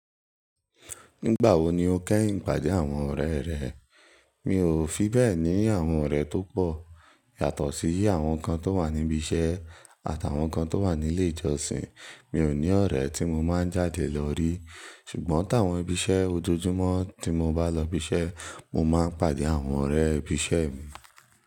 Nígbà wo ni o kẹ́yìn pàdé àwọn ọ̀rẹ́ rẹ? Mi ò fi bẹ́ẹ̀ ní àwọn ọ̀rẹ́ tó pọ̀. Yàtọ̀ sí i àwọn kan tó wà níbi iṣẹ́ àtàwọn kan tó wà nílé ìjọsìn. Mi ò ní ọ̀rẹ́ tí mo máa ń jáde lọ rí. Ṣùgbọ́n tí àwọn ibiṣẹ́ ojoojúmọ́ tí mo bs lọ ibiṣẹ́ mo máa pàdé àwọn ọ̀rẹ́ ibiṣẹ́ mi.